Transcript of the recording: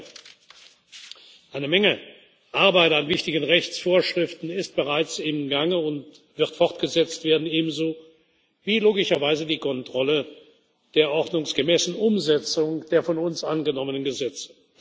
wird. Im Gegenteil Eine Menge Arbeit an wichtigen Rechtsvorschriften ist bereits im Gange und wird fortgesetzt werden, ebenso wie logischerweise die Kontrolle der ordnungsgemäßen Umsetzung der von uns angenommenen Gesetze.